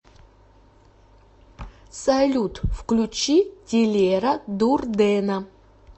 салют включи тилера дурдена